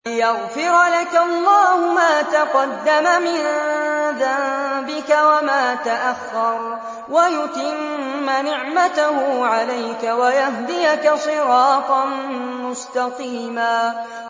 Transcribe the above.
لِّيَغْفِرَ لَكَ اللَّهُ مَا تَقَدَّمَ مِن ذَنبِكَ وَمَا تَأَخَّرَ وَيُتِمَّ نِعْمَتَهُ عَلَيْكَ وَيَهْدِيَكَ صِرَاطًا مُّسْتَقِيمًا